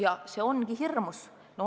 Ja see ongi hirmus.